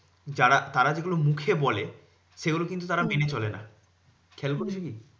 যারা তারা যেগুলো মুখে বলে সেগুলো কিন্তু তারা মেনে চলে না। খেয়াল করেছো কি?